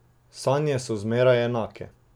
Sanje so zmeraj enake.